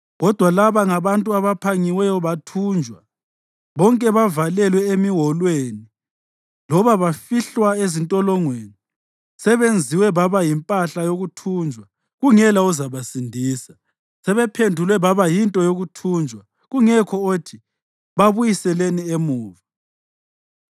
Kodwa laba ngabantu abaphangiweyo bathunjwa; bonke bavalelwe emiwolweni, loba bafihlwa ezintolongweni. Sebenziwe baba yimpahla yokuthunjwa, kungela ozabasindisa; sebephendulwe baba yinto yokuthunjwa kungekho othi, “Babuyiseleni emuva.”